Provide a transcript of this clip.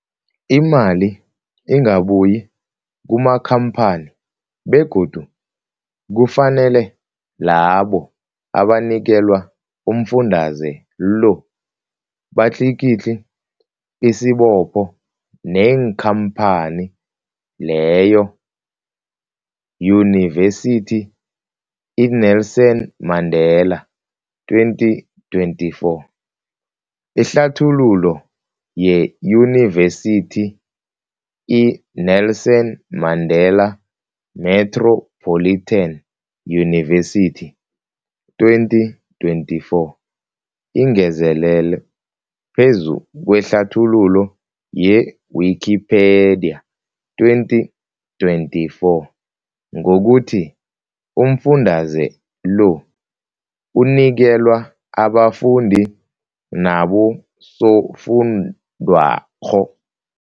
Imali ingabuyi kumakhamphani begodu kufanele labo abanikelwa umfundaze lo batlikitliki isibopho neenkhamphani leyo, Yunivesity i-Nelson Mandela 2024. Ihlathululo yeYunivesithi i-Nelson Mandela Metropolitan University, 2024, ingezelele phezu kwehlathululo ye-Wikipedia, 2024, ngokuthi umfundaze lo unikelwa abafundi nabosofundwakgho.